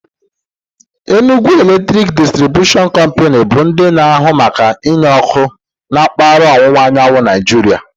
Enugwu Eletrik Disitribushion Kompanu bụ ndị na ahụ maka enye ọkụ na mkpaghara ọwụwa anyanwụ Naịjiria